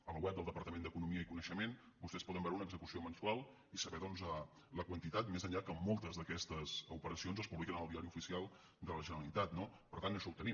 a la web del departament d’economia i coneixement vostès hi poden veure una execució mensual i saber doncs la quantitat més enllà que moltes d’aquestes operacions es publiquen al diari oficial de la generalitat no per tant això ho tenim